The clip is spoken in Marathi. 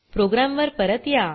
प्रोग्राम वर परत या